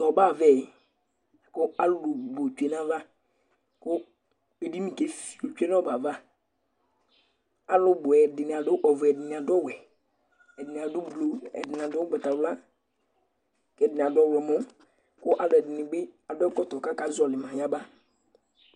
Tʋ ɔbɛ ava yɛ la kʋ alʋ bʋ tsue nʋ ayava kʋ edini kefie tsue nʋ ɔbɛ ava Alʋ bʋ ɛdɩnɩ adʋ ɔvɛ, ɛdɩnɩ adʋ ɔwɛ, ɛdɩnɩ adʋ blu, ɛdɩnɩ adʋ ʋgbatawla kʋ ɛdɩnɩ adʋ ɔɣlɔmɔ kʋ alʋɛdɩnɩ bɩ adʋ ɛkɔtɔ kʋ akazɔɣɔlɩ ma yaba